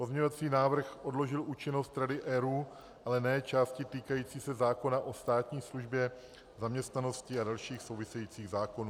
Pozměňovací návrh odložil účinnost Rady ERÚ, ale ne části týkající se zákona o státní službě, zaměstnanosti a dalších souvisejících zákonů.